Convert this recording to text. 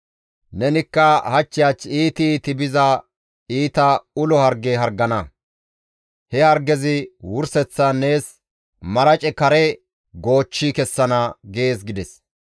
Nenikka hach hach iiti iiti biza iita ulo harge hargana; he hargezi wurseththan nees marace kare goochchi kessana› gees» gides.